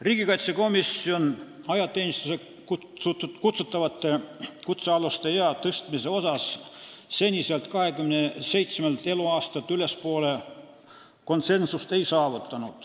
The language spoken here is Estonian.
Riigikaitsekomisjon ei saavutanud konsensust ajateenistusse kutsutavate kutsealuste ealise ülempiiri tõstmises seniselt 27 aastalt ülespoole.